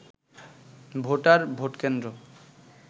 voter, ভোট কেন্দ্র